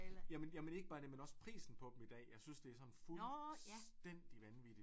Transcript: Jamen jamen ikke bare det men også prisen på dem i dag jeg synes det er sådan fuldstændig vanvittigt